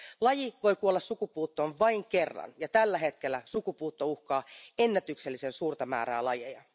Laji voi kuolla sukupuuttoon vain kerran ja tällä hetkellä sukupuutto uhkaa ennätyksellisen suurta määrää lajeja.